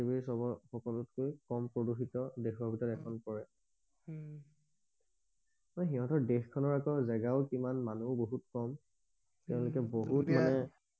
সকলোতকৈ কম প্ৰদূষিত দেশৰ ভিতৰত এখন পৰে উম সিহঁতৰ দেশ খনৰ আকৌ জেগাও কিমান মানুহো বহুত কম উম তেওঁলোকে বহুত মানে